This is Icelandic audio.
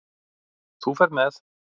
Þú ferð með